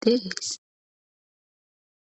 de7ees.